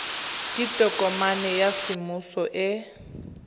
ke tokomane ya semmuso e